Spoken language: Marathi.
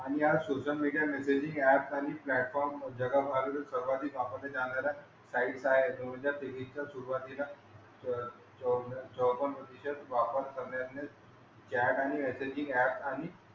आणि या सोशल मीडिया मेसेजिंग ऍप खाली प्लॅटफॉर्म जगात सर्वाधिक वापरल्या जाणाऱ्या साइट काय आहेत? दोन हजार तेवीसच्या सुरुवातीला च चौन चौपन्न प्रतिशत वापर करण्यातलेच चॅट आणि मेसेजिंग ऍप खाली,